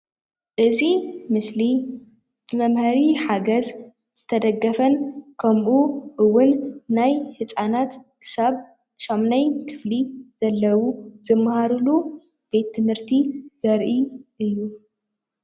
እዚ ምስሊ መምህሪ ሓገዝ ዝተደገፈን ከምኡ እውን ናይ ህፃናት ክሳብ ሻምናይ ክፍሊ ዘለዉ ዝመሃርሉ ቤት ትምህርቲ ዘርኢ እዩ::